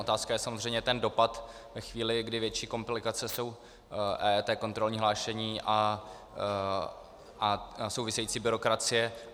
Otázka je samozřejmě ten dopad ve chvíli, kdy větší komplikace jsou EET, kontrolní hlášení a související byrokracie.